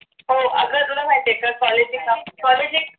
हो अगं तुला माहिती आहे का college एक college एक